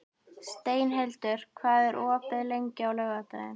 Steinhildur, hvað er opið lengi á laugardaginn?